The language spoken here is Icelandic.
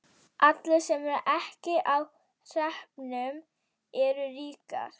Allir sem ekki eru á hreppnum eru ríkir.